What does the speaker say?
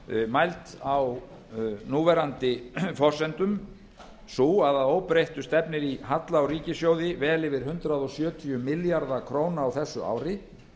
mæld á núverandi forsendum sú að að óbreyttu stefnir í halla á ríkissjóði vel yfir hundrað sjötíu milljarða króna á þessu ári